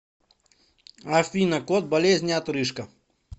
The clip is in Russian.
афина код болезни отрыжка